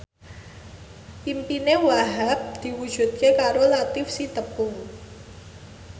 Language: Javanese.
impine Wahhab diwujudke karo Latief Sitepu